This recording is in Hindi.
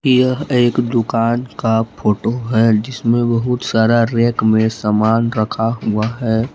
यह एक दुकान का फोटो है जिसमे बहुत सारा रैक मे समान रखा हुआ है।